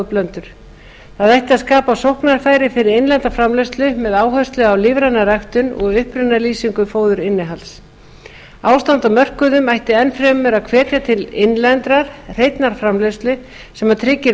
ætti að skapa sóknarfæri fyrir innlenda framleiðslu með áherslu á lífræna ræktun og upprunalýsingu fóðurinnihalds ástand á mörkuðum ætti enn frekar að hvetja til innlendrar hreinnar framleiðslu sem tryggir